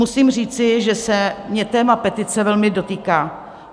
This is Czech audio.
Musím říci, že se mě téma petice velmi dotýká.